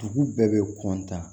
Dugu bɛɛ bɛ